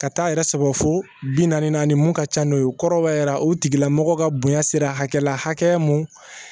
Ka taa yɛrɛ sɔrɔ fo bi naani na ni mun ka ca n'o ye o kɔrɔbaya yɛrɛ o tigilamɔgɔ ka bonya sera hakɛ la hakɛ mun